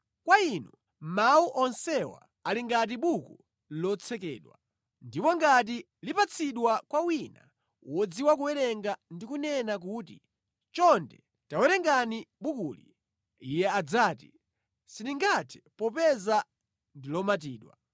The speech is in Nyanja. Kwa inu mawu onsewa ali ngati buku lotsekedwa, ndipo ngati lipatsidwa kwa wina wodziwa kuwerenga ndi kunena kuti, “Chonde tawerengani bukuli,” iye adzati, “Sindingathe popeza ndi lomatidwa.”